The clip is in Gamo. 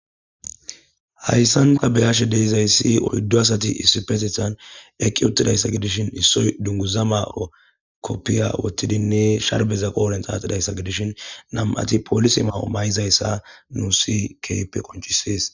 Hayssan ta be'ashe dizayssi oyddu asati issippeteththan eqqi uttidayssa gidishin, issoy dunguza ma'o kopiya woththidinne sharbeza qodhen xaaxidayssa gidishin nam'ati poolise ma'o ma'izayssa nuussi keehippe qonccisees.